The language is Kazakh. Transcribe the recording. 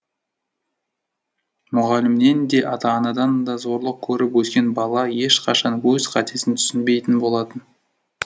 мұғалімнен де ата анадан да зорлық көріп өскен бала ешқашан өз қатесін түсінбейтін болады